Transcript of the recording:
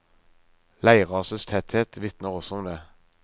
Leirrasets tetthet vitner også om det.